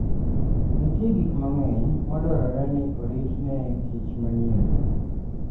Nitie gik mang'eny madwarore ni orit ne kich manyien.